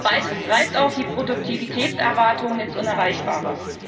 Beides treibt auch die Produktivitätserwartung ins Unerreichbare.